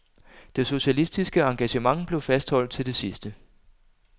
Det socialistiske engagement blev fastholdt til det sidste.